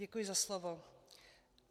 Děkuji za slovo.